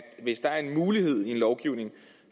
at hvis der er en mulighed i lovgivningen